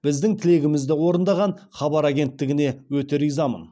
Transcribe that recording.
біздің тілегімізді орындаған хабар агенттігіне өте ризамын